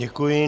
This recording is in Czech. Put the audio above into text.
Děkuji.